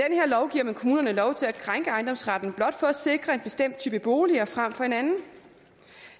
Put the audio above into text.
giver man kommunerne lov til at krænke ejendomsretten blot for at sikre en bestemt type bolig frem for en anden